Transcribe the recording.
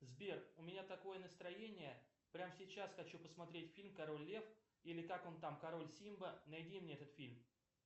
сбер у меня такое настроение прям сейчас хочу посмотреть фильм король лев или как он там король симба найди мне этот фильм